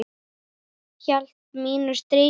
Hélt mínu striki.